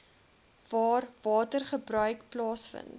waar watergebruik plaasvind